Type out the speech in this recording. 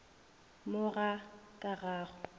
mo ga ka ga go